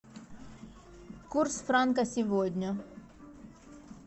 курс франка сегодня